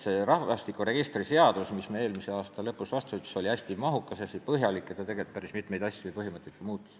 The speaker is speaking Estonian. See rahvastikuregistri seadus, mille me eelmise aasta lõpus vastu võtsime, oli hästi mahukas, hästi põhjalik ja muutis päris mitmeid asju ja põhimõtteid.